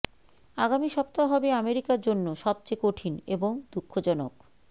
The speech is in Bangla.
আগামী সপ্তাহ হবে আমেরিকার জন্য সবচেয়ে কঠিন এবং দুঃখজনক